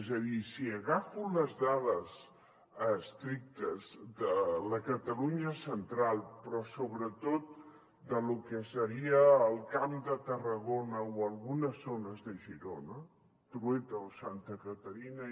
és a dir si agafo les dades estrictes de la catalunya central però sobretot de lo que seria el camp de tarragona o algunes zones de girona trueta o santa caterina